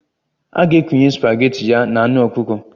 A ga-ekunye spageti ya na anụ ọkụkọ